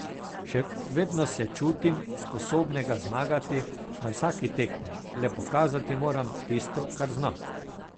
Še vedno se čutim sposobnega zmagati na vsaki tekmi, le pokazati moram tisto kar znam.